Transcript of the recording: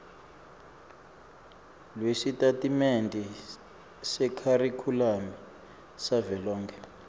lwesitatimende sekharikhulamu savelonkhe